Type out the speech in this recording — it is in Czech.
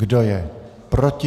Kdo je proti?